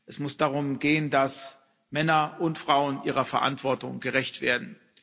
Es muss darum gehen, dass Männer und Frauen ihrer Verantwortung gerecht werden.